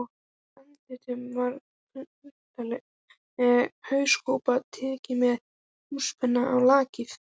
Fyrir andlitinu var klunnaleg hauskúpa, teiknuð með tússpenna á lakið.